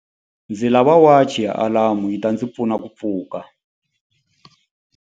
Ndzi lava wachi ya alamu yi ta ndzi pfuna ku pfuka.